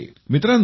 मित्रांनो